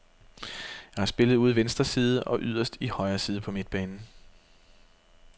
Jeg har spillet ude i venstre side og yderst i højre side på midtbanen.